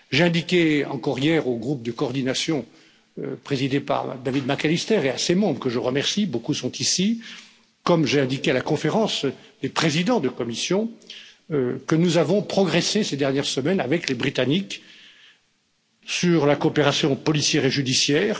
J'ai indiqué hier encore au groupe de coordination présidé par David McAllister et à ses membres que je remercie beaucoup sont ici comme je l'ai indiqué à la conférence des présidents de Commission, que nous avons progressé ces dernières semaines avec les Britanniques sur la coopération policière et judiciaire